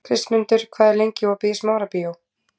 Kristmundur, hvað er lengi opið í Smárabíói?